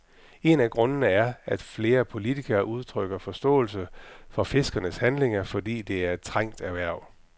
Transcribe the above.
En af grundene er, at flere politikere udtrykker forståelse for fiskernes handlinger, fordi det er et trængt erhverv.